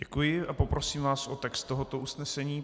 Děkuji a poprosím vás o text tohoto usnesení.